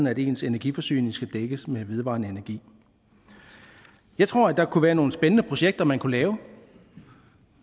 at ens energiforsyning skal dækkes af vedvarende energi jeg tror der kunne være nogle spændende projekter man kunne lave